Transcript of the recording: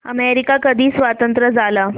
America कधी स्वतंत्र झाला